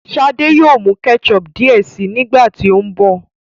shade yóò mú ketchup diẹ síi nígbàtí o nbọ